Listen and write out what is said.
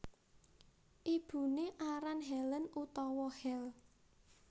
Ibuné aran Helen utawa Hel